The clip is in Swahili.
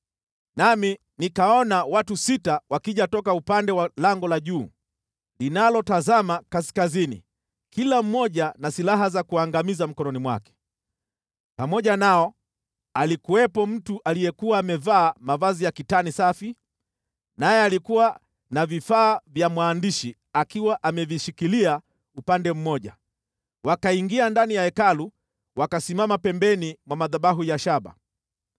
Nami nikaona watu sita wakija toka upande wa lango la juu, linalotazama kaskazini kila mmoja na silaha za kuangamiza mkononi mwake. Pamoja nao alikuwepo mtu aliyekuwa amevaa mavazi ya kitani safi, naye alikuwa na vifaa vya mwandishi akiwa amevishikilia upande mmoja. Wakaingia ndani ya Hekalu wakasimama pembeni mwa madhabahu ya shaba.